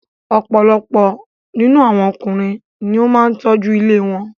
Ọ̀pọ̀ nínú àwọn Ọkùnrin ni ó máa ń tọ́jú ilé wọn.